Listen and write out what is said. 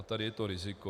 A tady je to riziko.